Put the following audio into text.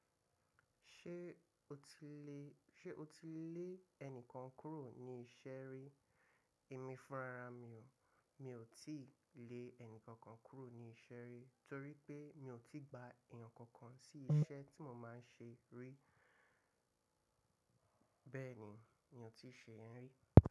Ṣé o ti lè, ṣe o ti lé ẹnìkan kúrò ní iṣẹ́ rí? Èmi fúnra ra mi o. Mi ò tí ì lé ẹnìkan kan kúrò ní iṣẹ́ rí torí pé mi ò tí gba èèyàn kankan sí iṣẹ́ tí mo máa ń ṣe rí. Bẹ́ẹ̀ ni, mi ò tí ì ṣe ẹ́ rí.